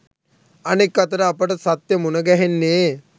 අනෙක් අතට අපට සත්‍ය මුණ ගැහෙන්නේ